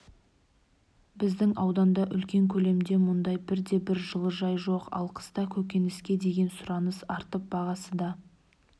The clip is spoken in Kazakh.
біздің ауданда үлкен көлемде мұндай бірде-бір жылыжай жоқ ал қыста көкөніске деген сұраныс артып бағасы да